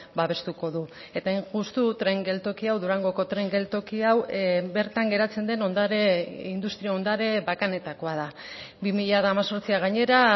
babestuko du eta hain justu tren geltoki hau durangoko tren geltoki hau bertan geratzen den ondare industria ondare bakanetakoa da bi mila hemezortzia gainera